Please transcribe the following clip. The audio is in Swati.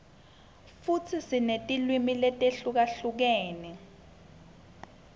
futsi sinetilwimi letihlukahlukene